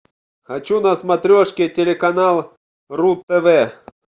хочу на смотрешке телеканал ру тв